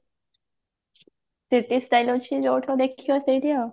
city style ଅଛି ଯଉଠୁ ଦେଖିବା ସେଇଠି ଆଉ